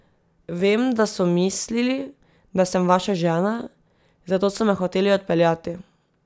Vem, da so mislili, da sem vaša žena, zato so me hoteli odpeljati.